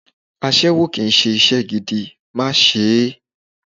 Aṣẹ́wó kì í ṣe iṣẹ́ gidi, má ṣe é!